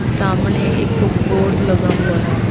सामने एक बोर्ड लगा हुआ है।